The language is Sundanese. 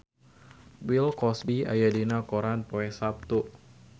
Bill Cosby aya dina koran poe Saptu